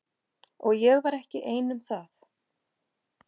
Og ég var ekki ein um það.